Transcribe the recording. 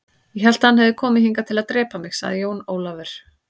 Ég hélt að hann hefði komið hingað til að drepa mig, sagði Jón Ólafur.